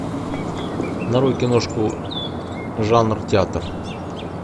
нарой киношку жанр театр